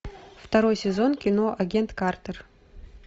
второй сезон кино агент картер